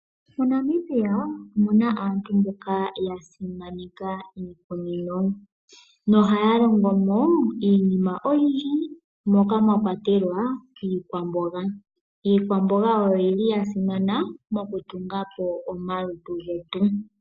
MoNamibia omu na aantu mboka ya simaneka iikunino nohaya longo mo iinima oyindji, moka mwa kwatelwa iikwamboga. Iikwamboga oya simana mokutunga po omalutu getu.